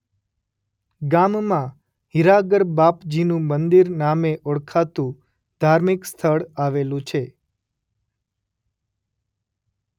ગામમાં હિરાગરબાપજીનું મંદિર નામે ઓળખાતું ધાર્મિક સ્થળ આવેલું છે.